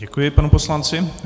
Děkuji panu poslanci.